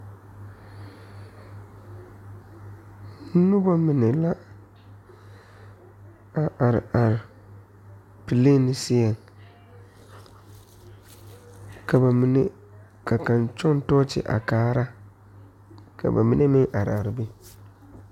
Noba mine la a are are plane seɛ ka ba mine ka kaŋ kyɔŋ tɔɔkye are kaara ka ba mine meŋ are a be.